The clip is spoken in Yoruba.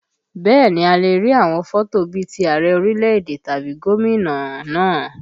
Bẹ́ẹ̀ ni, a lè rí àwọn fọ́tò bí ti Ààrẹ orílẹ̀èdè tàbí gómìnà náà